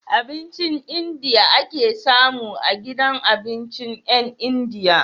Abincin India ake samu a gidan abincin yan india